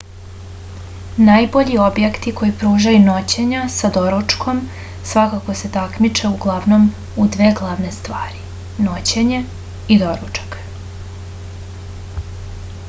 najbolji objekti koji pružaju noćenja s doručkom svakako se takmiče uglavnom u dve glavne stvari noćenje i doručak